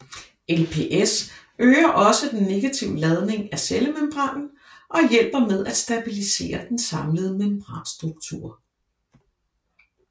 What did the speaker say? LPS øger også den negative ladning af cellemembranen og hjælper med at stabilisere den samlede membranstruktur